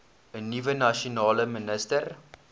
nuwe nasionale minister